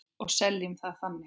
Og seljum það þannig.